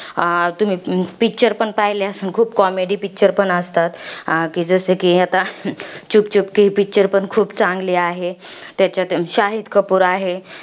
तुम्ही picture पण पहिले असतील खूप. comedy picture पण असतात. जसं कि आता, ही picture पण खूप चांगली आहे. त्याच्यात शाहीद कपूर आहे.